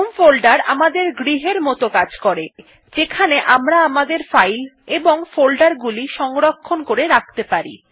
home folder আমাদের গৃহের মত যেখানে আমরা আমাদের ফাইল এবং ফোল্ডার গুলি সংরক্ষণ করে রাখতে পারি